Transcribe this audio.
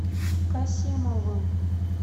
касимовым